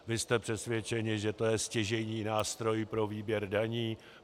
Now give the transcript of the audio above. Vy jste přesvědčeni, že to je stěžejní nástroj pro výběr daní.